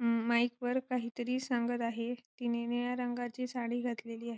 अं mic वर काही तरी सांगत आहे तिने निळ्या रंगाची साडी घातलेली आहे.